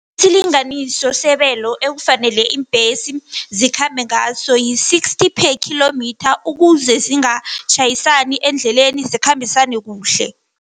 Isilinganiso sebelo ekufanele iimbhesi zikhambe ngaso, yi-sixty per kilometre ukuze zingatjhayisani endleleni zikhambisane kuhle.